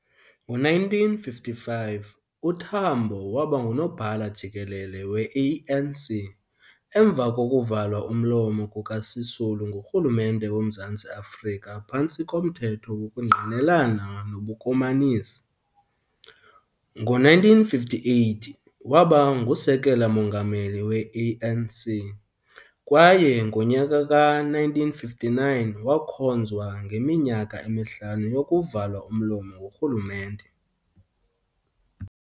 Ngo-1955, uTambo waba ngu-Nobhala-Jikelele we-ANC emva kokuvalwa umlomo kukaSisulu ngurhulumente woMzantsi Afrika phantsi komThetho wokuNgqinelana nobuKomanisi. Ngo-1958, waba ngu-Sekela Mongameli we-ANC kwaye ngonyaka ka-1959 wakhonzwa ngeminyaka emihlanu yokuvalwa umlomo ngurhulumente.